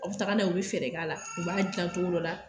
Aw bɛ taga na u bɛ fɛɛrɛ k'a la u b'a dilan cogo dɔ la